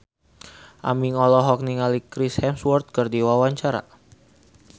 Aming olohok ningali Chris Hemsworth keur diwawancara